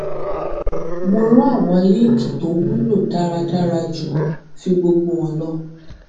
mo ran àwọn líǹkì tó wúlò dáradára ju fí gbogbo hàn lọ